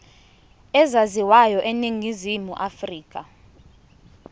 ezaziwayo eningizimu afrika